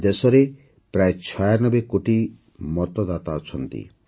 ଆଜି ଦେଶରେ ପ୍ରାୟ ଛୟାନବେ କୋଟି ମତଦାତା ଅଛନ୍ତି